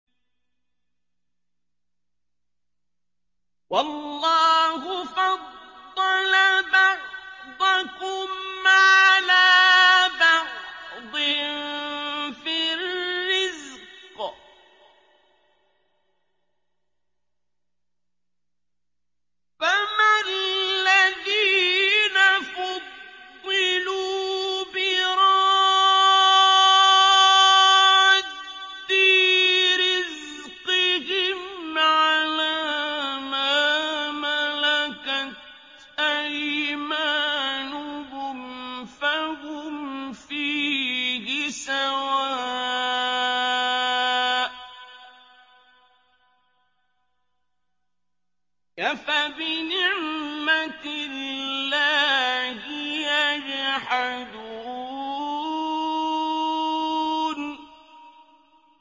وَاللَّهُ فَضَّلَ بَعْضَكُمْ عَلَىٰ بَعْضٍ فِي الرِّزْقِ ۚ فَمَا الَّذِينَ فُضِّلُوا بِرَادِّي رِزْقِهِمْ عَلَىٰ مَا مَلَكَتْ أَيْمَانُهُمْ فَهُمْ فِيهِ سَوَاءٌ ۚ أَفَبِنِعْمَةِ اللَّهِ يَجْحَدُونَ